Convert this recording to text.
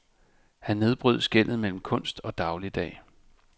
Han nedbrød skellet mellem kunst og dagligdag.